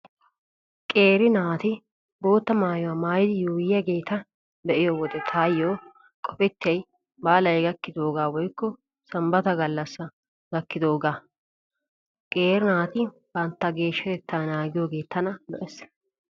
Qeeri naati bootta maayuwaa maayidi yuuyyiyaageeta be'iyo wode taayyo qopettiyay baalay gakkidoogaa woykko sanbbata gallassaa gakkidoogaa. Qeeri naati bantta geeshshatettaa naagiyoogee tana lo'ees.